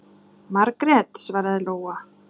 Margrét, svaraði Lóa.